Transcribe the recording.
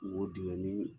O dingɛ ni